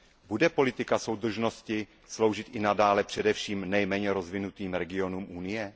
Bude politika soudržnosti sloužit i nadále především nejméně rozvinutým regionům Unie?